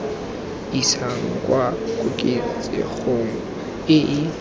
isang kwa koketsegong e e